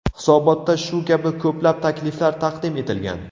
Hisobotda shu kabi ko‘plab takliflar taqdim etilgan.